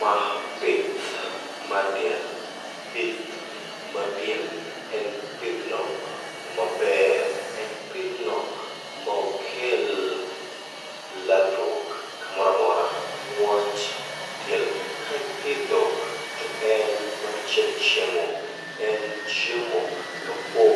Ma pith mar diel, pith mar diel en pidhno maber, en pidhno maok kel ladhruok moramora. Niwach diel kaipidho to en, nambachiel chiemo, en chiemo kapo